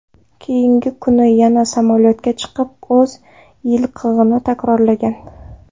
Keyingi kuni yana samolyotga chiqib, o‘z qilig‘ini takrorlagan.